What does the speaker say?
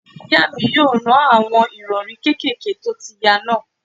Ìyá mi yóò rán àwọn ìrọ̀rí kékèké tó ti ya náà